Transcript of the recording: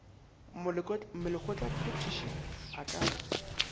molekgotla phethiši a ka re